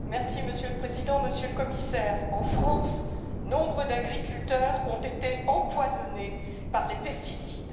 Monsieur le Président, Monsieur le Commissaire, en France, nombre d'agriculteurs ont été empoisonnés par les pesticides.